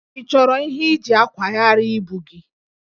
Ị chọrọ ihe iji akwagharị ibu gị?